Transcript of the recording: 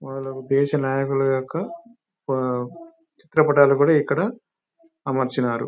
వాళ్లకు దేశ నాయకుల యొక్క చిత్రపటాలు కూడా ఇక్కడ అమర్చినారు.